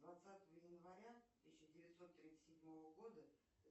двадцатого января тысяча девятьсот тридцать седьмого года